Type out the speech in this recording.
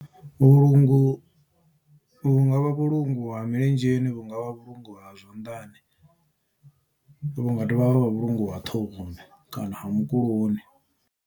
Vhulungu vhunga vha vhulungu ha milenzheni vhunga vha vhulungu ha zwanḓani vhu nga dovha ha vha vhulungu ha ṱhohoni kana ha mukuloni.